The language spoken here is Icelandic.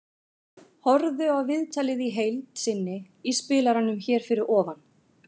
Horfðu á viðtalið í heild sinni í spilaranum hér fyrir ofan.